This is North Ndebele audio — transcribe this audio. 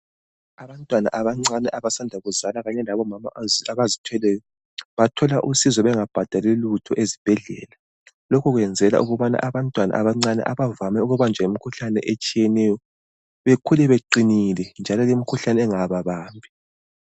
Abantwana abancane abasanda kuzalwa kanye labomama abazithweleyo bathola usizo bengabhadali lutho ezibhedlela. Lokhu kwenzelwa ukubana abantwana abancane abavame ukubanjwa yimikhuhlane etshiyeneyo bekhule beqinile njalo lemikhuhlane ingababambi.